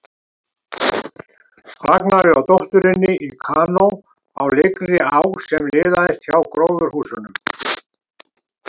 Ragnari og dótturinni í kanó á lygnri á sem liðaðist hjá gróðurhúsunum.